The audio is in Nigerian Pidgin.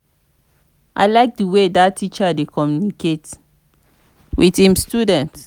i like the way dat teacher dey communicate with im students